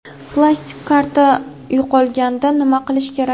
Plastik karta yo‘qolganda nima qilish kerak?.